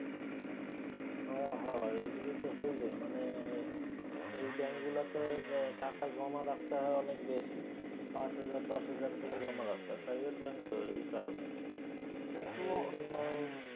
হ হ এইগুলি তো হইবেই মানে এই ব্যাঙ্কগুলিতে টাকা জমা রাখতে হয় অনেক বেশি। পাঁচ হাজার দশ হাজার কইরা জমা রাখতে হয়। private bank তো এই কারণে। কিন্তু সেইজন্য